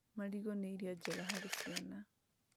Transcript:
Marigũ nĩ irio njega harĩ ciana